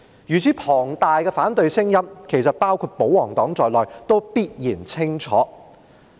如此龐大的反對聲音，其實包括保皇黨也必然清楚聽見。